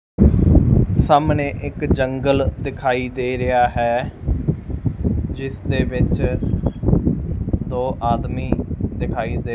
ਸਾਹਮਣੇ ਇੱਕ ਜੰਗਲ ਦਿਖਾਈ ਦੇ ਰਿਹਾ ਹੈ ਜਿਸਦੇ ਵਿੱਚ ਦੋ ਆਦਮੀ ਦਿਖਾਈ ਦੇ--